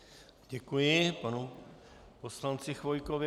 Děkuji panu poslanci Chvojkovi.